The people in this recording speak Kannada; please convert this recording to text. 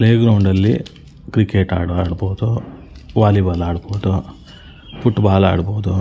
ಪ್ಲೇ ಗ್ರೌಂಡ್ ಅಲ್ಲಿ ಕ್ರಿಕೆಟ್ ಆದ್ರೂ ಆಡ್ಬಹುದು ವಾಲಿಬಾಲ್ ಆಡ್ಬಹುದು ಫ್ಫುಟ್ಬಾಲ್ ಆಡಬಹುದ್--